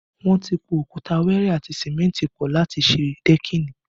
Wọn ti po òkúta wẹẹrẹ àti símẹ́ntì pọ láti ṣe dẹ́kìnì